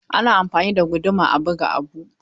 Ana amfani da guduma a buga abu.